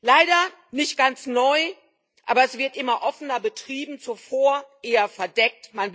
Leider nicht ganz neu, aber es wird immer offener betrieben, zuvor eher verdeckt.